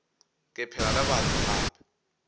ke phela le batho gape